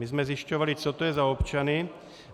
My jsme zjišťovali, co to je za občany.